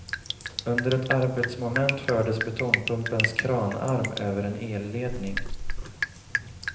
Under ett arbetsmoment fördes betongpumpens kranarm över en elledning.